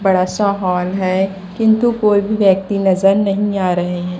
बड़ा सा हॉल है किंतु कोई भी व्यक्ति नजर नहीं आ रहे हैं।